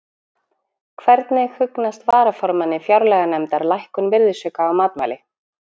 Hvernig hugnast varaformanni fjárlaganefndar lækkun virðisauka á matvæli?